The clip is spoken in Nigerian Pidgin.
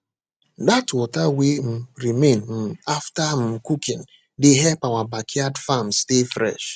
that water wey um remain um after um cooking dey help our backyard farm stay fresh